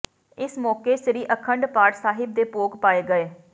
ਇਸ ਮੌਕੇ ਸ੍ਰੀ ਅਖੰਡ ਪਾਠ ਸਾਹਿਬ ਦੇ ਭੋਗ ਪਾਏ ਗਏ